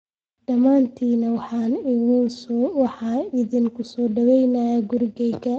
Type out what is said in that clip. Dhammaantiin waan idin ku soo dhoweeyey gurigeyga